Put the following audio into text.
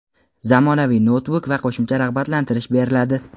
zamonaviy noutbuk va qo‘shimcha rag‘batlantirish beriladi.